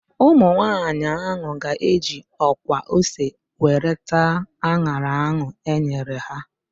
Ụmụ nwaanyị ahụ ga-eji ọkwa ose were taa an̄ara ahụ e nyere ha.